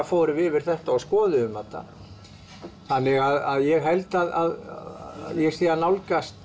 fórum yfir þetta og skoðuðum þetta þannig að ég held að ég sé að nálgast